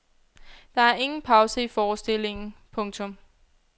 Der er ingen pause i forestillingen. punktum